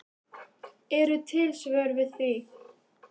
Eru til svör við því?